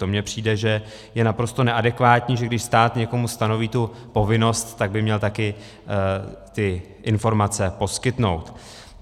To mi přijde, že je naprosto neadekvátní, že když stát někomu stanoví tu povinnost, tak by měl taky ty informace poskytnout.